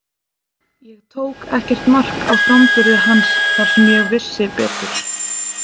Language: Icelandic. Ég tók ekkert mark á framburði hans þar sem ég vissi betur.